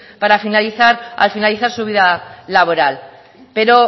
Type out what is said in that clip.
al finalizar su vida laboral pero